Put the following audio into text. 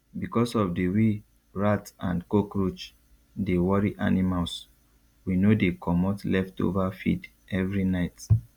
because of the way rat and cockroach dey worry animals we no dey comot leftover feed every night